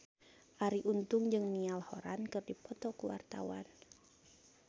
Arie Untung jeung Niall Horran keur dipoto ku wartawan